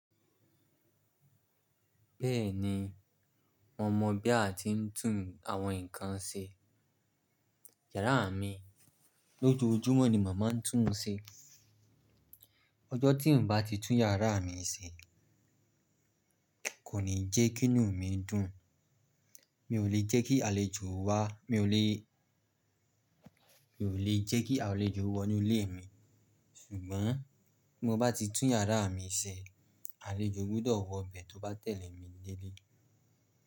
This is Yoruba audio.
Bẹ́ẹ̀ni, mo mọ̀ bí a ti ń tún àwọn nǹkan ṣe. Yàárà mi lójojúmọ́ ni mo máa ń tún ṣe. Ọjọ́ tí ń bá ti tún yàrá mi ṣe kò ní jẹ́ kí inú mi dùn. Mi ò lè jẹ́ kí àlejò wá, mi ò lè, mi ò lè jẹ́ kí àlejò wọ inú ilé mi. Ṣùgbọ́n bí mo bá ti tún yàrá mi ṣe, àlejò gbudọ̀ wọ bẹ̀ tó bá tẹ̀lé mi dẹ́lé.